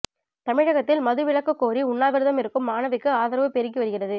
தமிழகத்தில் மது விலக்கு கோரி உண்ணாவிரதம் இருக்கும் மாணவிக்கு ஆதரவு பெருகி வருகிறது